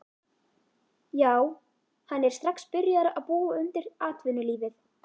Já hann er strax byrjaður að búa þig undir atvinnulífið.